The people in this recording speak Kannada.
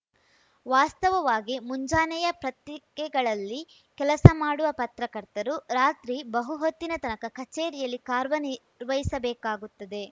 ವಾಸ್ತವವಾಗಿ ಮುಂಜಾನೆಯ ಪತ್ರಿಕೆಗಳಲ್ಲಿ ಕೆಲಸ ಮಾಡುವ ಪತ್ರಕರ್ತರು ರಾತ್ರಿ ಬಹುಹೊತ್ತಿನ ತನಕ ಕಚೇರಿಯಲ್ಲಿ ಕಾರ್ವ ನಿರ್ವಹಿಸಬೇಕಾಗುತ್ತದೆ